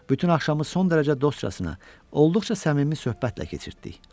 Bütün axşamı son dərəcə dostcasına, olduqca səmimi söhbətlə keçirtdi.